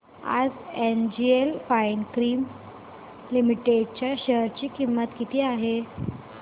आज एनजीएल फाइनकेम लिमिटेड च्या शेअर ची किंमत किती आहे